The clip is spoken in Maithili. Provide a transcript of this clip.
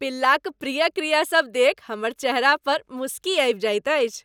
पिल्लाक प्रिय क्रियासभ देखि हमर चेहरा पर मुसुकी आबि जायत अछि।